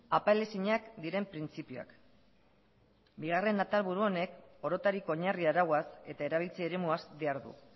apal ezinak diren printzipioak bigarren atalburu honek orotarik oinarri arauaz eta erabiltze eremuaz behar du